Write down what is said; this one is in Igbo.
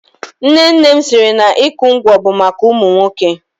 Nne nne m siri na ịkụ ngwọ bụ maka ụmụ nwoke.